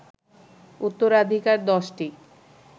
উত্তরাধিকার ১০টি